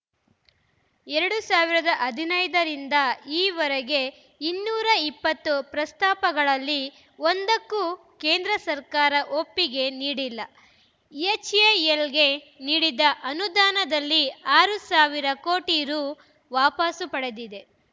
ಎರಡ್ ಸಾವಿರದ ಹದಿನೈದ ರಿಂದ ಈವರೆಗೆ ಇನ್ನೂರ ಇಪ್ಪತ್ತು ಪ್ರಸ್ತಾಪಗಳಲ್ಲಿ ಒಂದಕ್ಕೂ ಕೇಂದ್ರ ಸರ್ಕಾರ ಒಪ್ಪಿಗೆ ನೀಡಿಲ್ಲ ಎಚ್‌ಎಎಲ್‌ಗೆ ನೀಡಿದ್ದ ಅನುದಾನದಲ್ಲಿ ಆರು ಸಾವಿರ ಕೋಟಿ ರು ವಾಪಸು ಪಡೆದಿದೆ